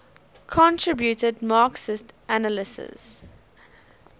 contributed marxist analyses